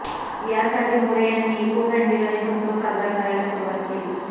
यासाठी मोरे यांनी eco friendly Ganeshotsav साजरा करायला सुरुवात केली